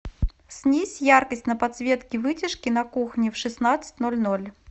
снизь яркость на подсветке вытяжки на кухне в шестнадцать ноль ноль